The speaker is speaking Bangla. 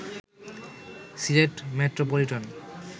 সিলেট মেট্রোপলিটন